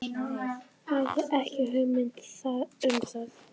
Hafði ekki hugmynd um það.